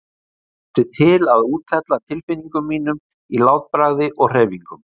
Ég mátti til að úthella tilfinningum mínum í látbragði og hreyfingum.